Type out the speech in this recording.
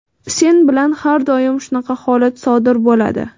Sen bilan har doim shunaqa holat sodir bo‘ladi.